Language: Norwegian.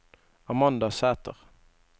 Amanda Sæter